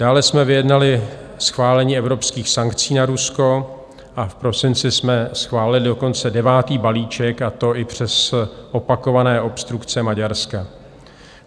Dále jsme vyjednali schválení evropských sankcí na Rusko a v prosinci jsme schválili dokonce devátý balíček, a to i přes opakované obstrukce Maďarska.